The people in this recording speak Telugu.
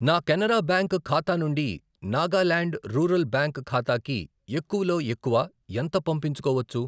నా కెనరా బ్యాంక్ ఖాతా నుండి నాగాల్యాండ్ రూరల్ బ్యాంక్ ఖాతాకి ఎక్కువలో ఎక్కువ ఎంత పంపించుకోవచ్చు?